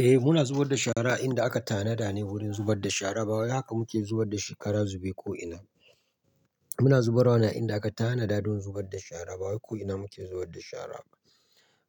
Eh muna zubar da shara inda aka tanada ne wurin zubar da shara. Bawai haka muke zubar da shi kara zube ko'ina. Muna zubarwa ne a inda aka tanada don zubar da shara. Bawaye ko'ina muke zubar da shara.